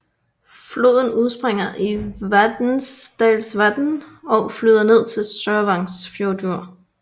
Floden udspringer i Vatnsdalsvatn og flyder ned til Sørvágsfjørður